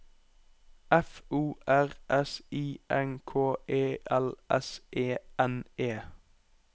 F O R S I N K E L S E N E